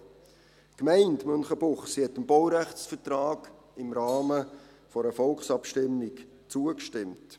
Die Gemeinde Münchenbuchsee stimmte dem Baurechtsvertrag im Rahmen einer Volksabstimmung zu.